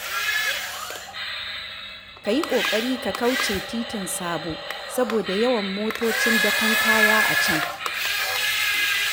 Ka yi ƙoƙari ka kauce titin Sabo, saboda yawan motocin dakon kaya a can.